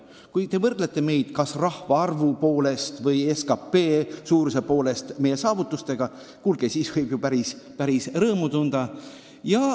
Kui te võrdlete meie SKT suurust elaniku kohta teiste omaga, siis võib ju päris rõõmu tunda.